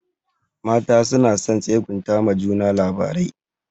Mata suna son tsegunta ma juna labarai.